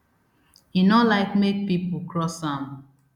e no like make pipo cross am